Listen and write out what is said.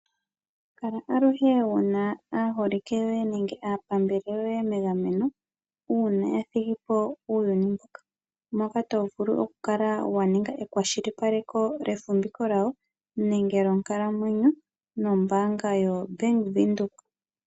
Kala aluhe wu na aaholike yoye nenge aapambele yoye megameno, uuna ya thigi po uuyuni mbuka. Moka to vulu okukala wa ninga ekwashilipaleko lyefumviko lyawo nenge lyonkalamwenyo, nombaanga yoBank Windhoek.